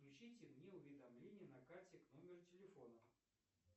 включите мне уведомления на карте к номеру телефона